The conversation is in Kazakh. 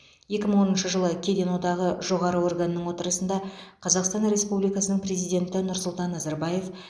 екі мың оныншы жылы кеден одағы жоғары органының отырысында қазақстан республикасының президенті нұрсұлтан назарбаев